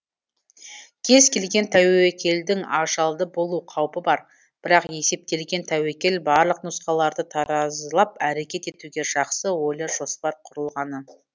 кез келген тәуекелдің ажалды болу қаупі бар бірақ есептелген тәуекел барлық нұсқаларды таразылап әрекет етуге жақсы ойлы жоспар құрылғаны